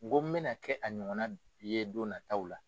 Ko n bɛna kɛ a ɲɔgɔn ye don nataw la.